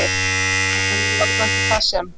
Alma: En varðandi það sem.